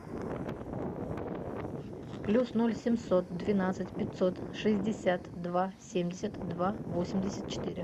плюс ноль семьсот двенадцать пятьсот шестьдесят два семьдесят два восемьдесят четыре